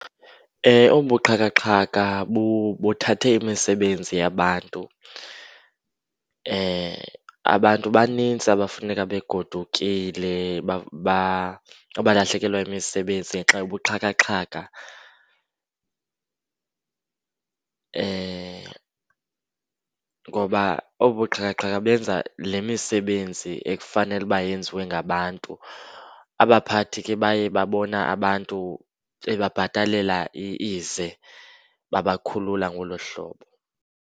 Obu buxhakaxhaka buthathe imisebenzi yabantu. Abantu banintsi abafuneka begodukile abalahlekelwa yimisebenzi ngenxa yobuxhakaxhaka ngoba obu buxhakaxhaka benza le misebenzi ekufanele uba yenziwe ngabantu. Abaphathi ke baye babona abantu bebabhatalela ize, babakhulula ke ngolo hlobo.